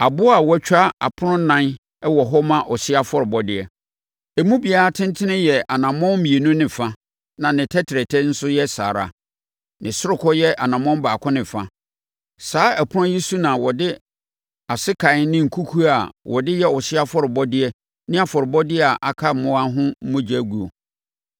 Aboɔ a wɔatwa apono ɛnan wɔ hɔ ma ɔhyeɛ afɔrebɔdeɛ. Emu biara tentene yɛ anammɔn mmienu ne fa, na ne tɛtrɛtɛ nso yɛ saa ara, ne sorokɔ yɛ ɔnamɔn baako ne fa. Saa apono yi so na wɔde asekan ne nkukuo a wɔde yɛ ɔhyeɛ afɔrebɔdeɛ ne afɔrebɔdeɛ a aka mmoa ho adwuma guo.